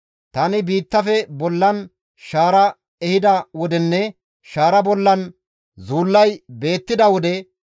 Tani biittafe bollan shaara ehida wodenne shaara bollan zuullay beettida wode,